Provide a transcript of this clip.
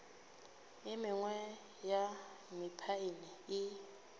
e mengwe ya mephaene e